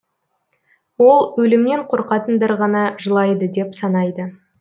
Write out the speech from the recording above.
ол өлімнен қорқатындар ғана жылайды деп санайды